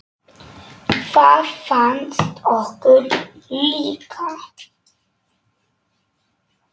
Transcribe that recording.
Það fannst okkur líka.